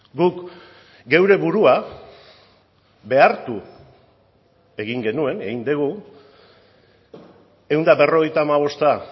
guk geure burua behartu egin genuen egin dugu ehun eta berrogeita hamabosta